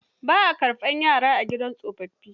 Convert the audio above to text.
Ba a karɓar yara a gidan tsofaffi.